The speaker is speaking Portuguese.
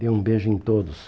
Dei um beijo em todos.